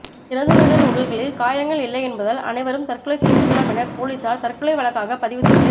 இறந்தவர்களின் உடல்களில் காயங்கள் இல்லை என்பதால் அனைவரும் தற்கொலை செய்திருக்கலாம் என போலீசார் தற்கொலை வழக்காக பதிவு செய்து